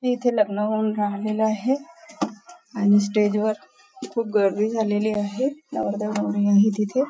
हे इथे लग्न लागलेलं आहे आणि स्टेज वर खूप गर्दी झालेली आहे नवरदेव नवरी आहे तिथे.